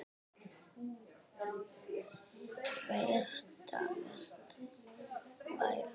Tveir dagar, tvær vikur?